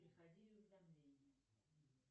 приходили уведомления